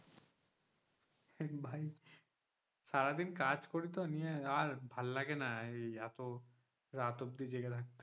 নিয়ে ভাই সারাদিন কাজ করি তো নিয়ে আর ভালো লাগে না এই তো রাত অব্দি জেগে থাকতে,